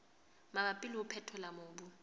mabapi le ho phethola mobu